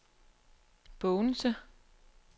Bogense